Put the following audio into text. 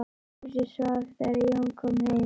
Húsið svaf þegar Jón kom heim.